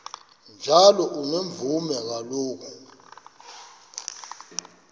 njalo unomvume kuloko